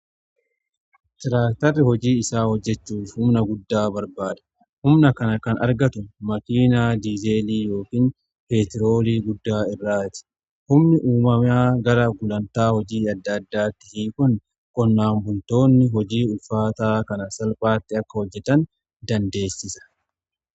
Tiraaktarri hojii isaa hojjechuuf humna guddaa barbaada. Humna kana kan argatu makiinaa diizeelii yookiin peetiroolii guddaa irraati humni uummamaa gara gulantaa hojii adda addaatti kun qonnaan buntoonni hojii ulfaataa kana salphaatti akka hojjetan dandeessisa.